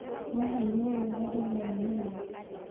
Nĩ aheirwo rũtha rĩrĩa arĩ mũrũaru.